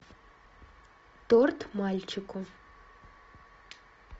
торт мальчику